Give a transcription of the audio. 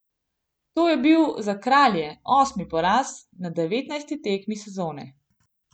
To je bil za kralje osmi poraz na devetnajsti tekmi sezone.